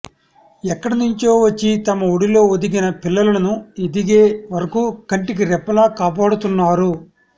ఎక్కడి నుంచో వచ్చి తమ ఒడిలో ఒదిగిన పిల్లలను ఎదిగే వరకూ కంటికి రెప్పలా కాపాడుతున్నారు